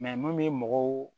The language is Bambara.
mun bɛ mɔgɔw